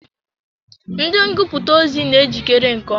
Ndị ngụputa ozi na ejikere nke ọma.